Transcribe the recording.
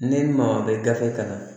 Ni maa bɛ gafe kalan